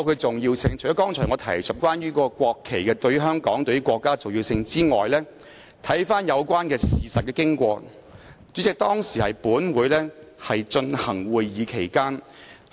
除了我剛才提述關乎國旗對香港及國家的重要性外，如回顧有關事實的經過，代理主席，當時本會正進行會議。